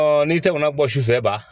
n'i tɛmɛna bɔ su fɛ ban